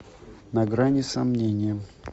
на грани сомнения